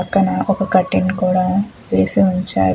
పక్కన ఒక కర్టీన్ కూడ వేసి ఉంచారు.